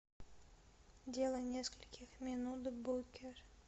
дело нескольких минут букер